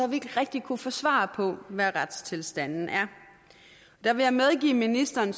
vi ikke rigtig kunnet få svar på hvad retstilstanden er der vil jeg medgive ministeren